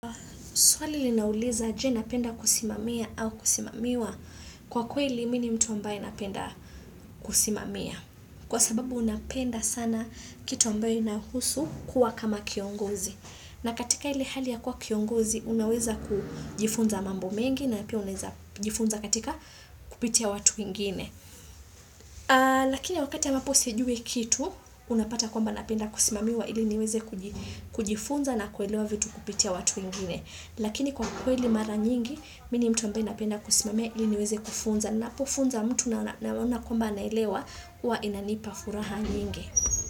Swali linauliza je, napenda kusimamia au kusimamiwa? Kwa kweli mi ni mtu ambaye napenda kusimamia. Kwa sababu napenda sana kitu ambayo inahusu kuwa kama kiongozi. Na katika ile hali ya kuwa kiongozi unaweza kujifunza mambo mengi na pia unaweza kujifunza katika kupitia watu wengine. Lakini wakati ya ambapo sijui kitu unapata kwamba napenda kusimamiwa ili niweze kujifunza na kuelewa vitu kupitia watu wengine. Lakini kwa kweli mara nyingi, mi ni mtu ambaye napenda kusimamia ili niweze kufunza. Napofunza mtu na naona kwamba naelewa, huwa inanipa furaha nyingi.